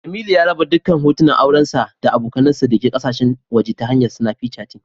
Jemilu ya raba dukkan hoton aurensa da abokansa dake kasashen waje ta hanyar Snapichati